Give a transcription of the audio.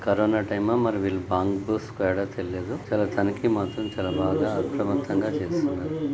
Corona టైమా మరి వీళ్లు బాంబు స్క్వాడా తెలీదు చాలా తనకి మాత్రం చాలా బాగా అప్రమత్తంగా చేస్తున్నారు.